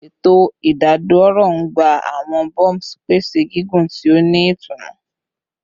Eto idadoro n gba awọn bumps, pese gigun ti o ni itunu